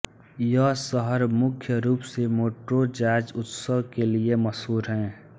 यह शहर मुख्य रूप से मोंट्रो जाज़ उत्सव के लिए मशहूर है